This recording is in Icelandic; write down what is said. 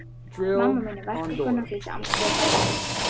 Mamma mín er verkakona, flýtti Andri sér að bæta við.